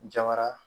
Jabara